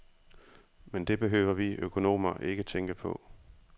Men det behøver vi økonomer ikke tænke på.